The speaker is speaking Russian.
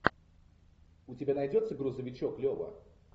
у тебя найдется грузовичок лева